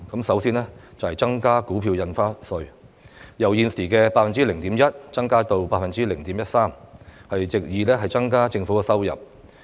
首先就是提高股票印花稅，由現時 0.1% 增加到 0.13%， 藉以增加政府收入。